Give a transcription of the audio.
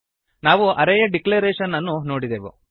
ನಾವು ಅರೇ ಯ ಡಿಕ್ಲೇರೇಶನ್ ಅನ್ನು ನೋಡಿದೆವು